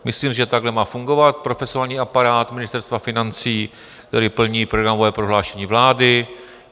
Myslím, že takhle má fungovat profesionální aparát Ministerstva financí, který plní programové prohlášení vlády.